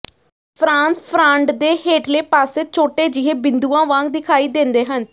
France frond ਦੇ ਹੇਠਲੇ ਪਾਸੇ ਛੋਟੇ ਜਿਹੇ ਬਿੰਦੂਆਂ ਵਾਂਗ ਦਿਖਾਈ ਦਿੰਦੇ ਹਨ